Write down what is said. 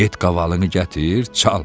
Get qavalını gətir, çal.